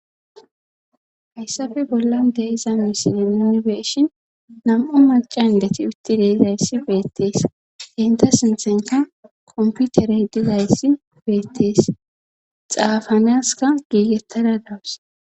Hayssafe bollan deiza misine nuni beeshin nam'u macan dethi utti deizayssi beettees inta sinthenka komputerey dizayssi beettees xaafanaska giigettada dawus.